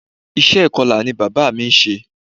Iṣẹ́ ìkọla ni bàbá mí ń ṣe.